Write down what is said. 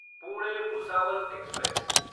Pune Bhusawal express